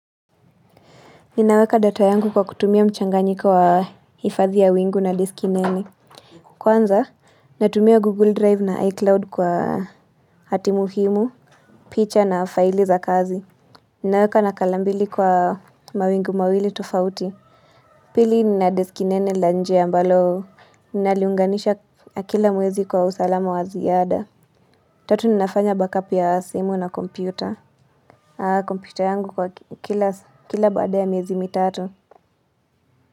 Ninaweka data yangu kwa kutumia mchanganyika wa hifadhi ya wingu na disk nene. Kwanza, natumia Google Drive na iCloud kwa hatimuhimu, picha na faili za kazi. Ninaweka na kalambili kwa mawingu mawili tofauti. Pili nina disk nene lanje ambalo naliunganisha kila mwezi kwa usalamu wa ziada. Tatu ninafanya backup ya simu na kompyuta. Haa, kompyuta yangu kwa kila baada ya miezi mitatu.